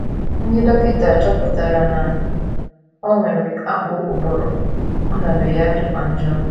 Ndị dọkịta chọpụtara na o nwere akpụ ụbụrụ, ọnọdụ ya dịkwa njọ.